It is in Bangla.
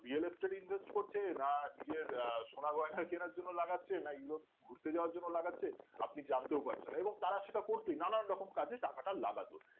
BLO study invest করছে না নিজের আহ সোনা গয়না কেনার জন্য লাগাচ্ছে না Europe ঘুরতে যাওয়ার জন্য লাগাচ্ছে আপনি জানতেও পারছেন না এবং তারা সেটা করছে নানান রকম কাজে টাকাটা লাগাচ্ছে